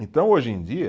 Então, hoje em dia,